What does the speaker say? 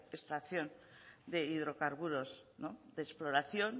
extracción de hidrocarburos de exploración